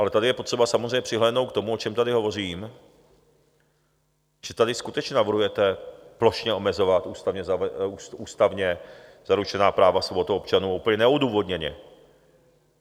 Ale tady je potřeba samozřejmě přihlédnout k tomu, o čem tady hovořím, že tady skutečně navrhujete plošně omezovat ústavně zaručená práva svobod občanů úplně neodůvodněně.